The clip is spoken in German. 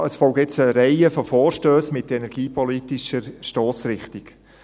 Ja, es gibt eine Reihe von Vorstössen mit energiepolitischer Stossrichtung.